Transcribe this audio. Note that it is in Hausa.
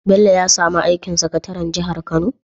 Bello ya samu aikin sakataran jihar kano?